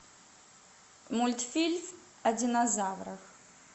мультфильм о динозаврах